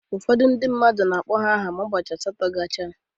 Ụfọdụ ndị mmadụ na-akpọ ya aha ụbọchị asatọ gacha.